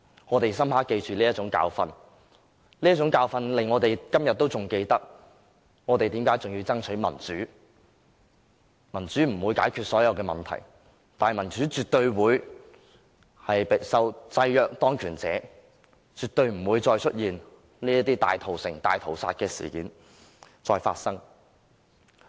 我們深刻記住這種教訓，這種教訓令我們今天仍然記得我們為何要爭取民主，民主不能解決所有問題，但民主絕對可制約當權者，令這些大屠城、大屠殺的事件絕對不會再發生。